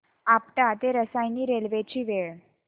आपटा ते रसायनी रेल्वे ची वेळ